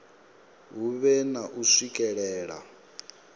hu vhe na u swikelela